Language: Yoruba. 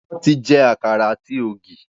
Wọn ti jẹ àkàrà ati ogi